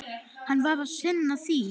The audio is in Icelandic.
Hann varð að sinna því.